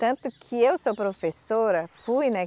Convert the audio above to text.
Tanto que eu sou professora, fui, né?